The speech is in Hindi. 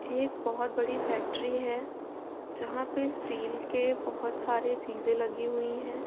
एक बोहोत बड़ी फैक्ट्री है जहां पर स्टील के बोहोत सारी चीजें लगी हुई हैं।